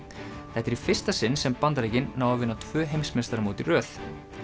þetta er í fyrsta sinn sem Bandaríkin ná að vinna tvö heimsmeistaramót í röð